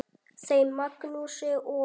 Þeim Magnúsi og